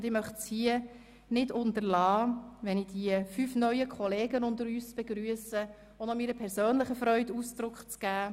Wenn ich hier unsere fünf neuen Kollegen begrüsse, möchte ich es nicht unterlassen, meiner persönlichen Freude Ausdruck zu verleihen.